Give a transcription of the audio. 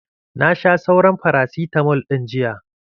Na sha sauran farasitamal ɗin jiya.